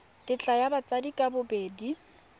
tetla ya batsadi ka bobedi